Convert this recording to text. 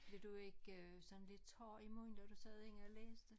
Blev du ikke sådan lidt tør i munden når du sad inde og læste